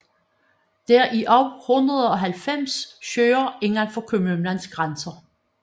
Der er også 190 søer indenfor kommunens grænser